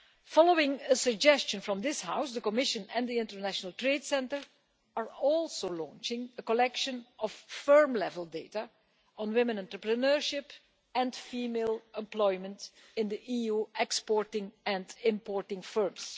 Following a suggestion from this House, the Commission and the International Trade Centre are also launching a collection of firm level data on women entrepreneurship and female employment in EU exporting and importing firms.